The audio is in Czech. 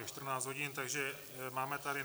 Je 14 hodin, takže máme tady